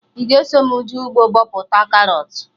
Ị ga eso mụ jee ugbo bọpụta karọt?